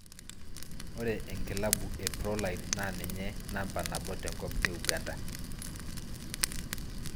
Ore eklabu e Proline naa ninye namba nabo tenkop e Uganda.